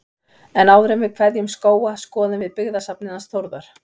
En áður en við kveðjum Skóga skoðum við byggðasafnið hans Þórðar.